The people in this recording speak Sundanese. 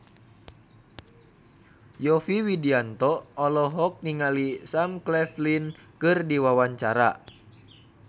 Yovie Widianto olohok ningali Sam Claflin keur diwawancara